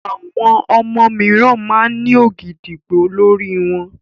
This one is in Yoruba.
Àwọn ọmọ mìíràn máa ń ní ògìdìgbó lórí wọn.